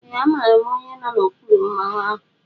Ee amaara m onye nọ n'okpuru Mmanwu ahụ.